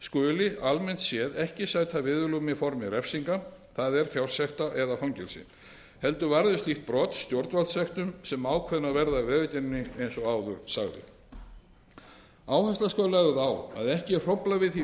skuli almennt séð ekki sæta viðurlögum í formi refsinga það er fjársekta eða fangelsis heldur varði slík brot stjórnvaldssektum sem ákveðnar verða af vegagerðinni eins og áður sagði áhersla skal lögð á að ekki verði hróflað við því